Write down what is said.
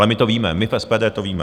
Ale my to víme, my v SPD to víme.